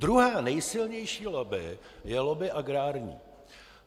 Druhá nejsilnější lobby je lobby agrární.